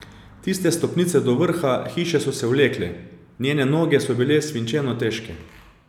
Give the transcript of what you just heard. Tiste stopnice do vrha hiše so se vlekle, njene noge so bile svinčeno težke.